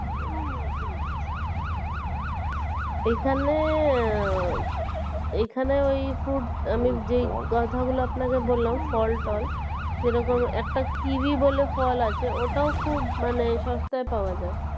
এইখানে, এইখানে ওই fruit আমি যেই কথা গুলো বললাম ফল টল যেরকম একটা kiwi বলে ফল আছে ওটাও খুব মানে সস্তায় পাওয়া যায়